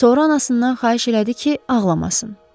Sonra anasından xahiş elədi ki, ağlamasın.